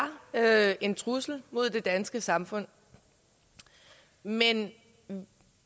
er en trussel mod det danske samfund men